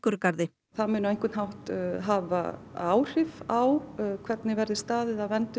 Víkurgarði það muni á einhvern hátt hafa áhrif á hvernig verði staðið að verndun